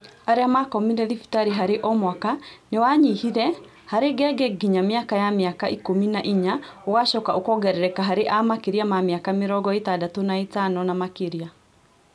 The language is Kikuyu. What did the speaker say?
Arĩa makomire thibitarĩ harĩ omwaka nĩwanyihire harĩ ngenge nginya mĩaka ya mĩaka ikũmi na inya ũgacoka ũkongerereka harĩ a makĩria ma mĩaka mĩrongo ĩtandatũna ĩtano na makĩria